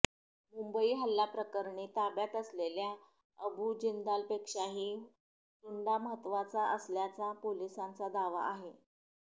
मुंबई हल्ल्याप्रकरणी ताब्यात असलेल्या अबु जिंदालपेक्षाही टुंडा महत्त्वाचा असल्याचा पोलिसांचा दावा आहे